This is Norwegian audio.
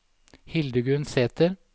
Hildegunn Sæther